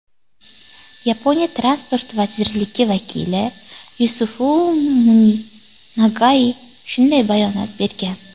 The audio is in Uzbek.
Yaponiya transport vazirligi vakili Yosifumi Nagai shunday bayonot bergan.